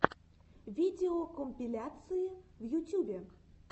видеокомпиляции в ютюбе